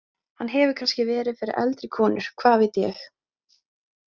Hann hefur kannski verið fyrir eldri konur, hvað veit ég.